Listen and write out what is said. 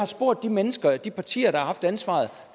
spurgt de mennesker de partier der har haft ansvaret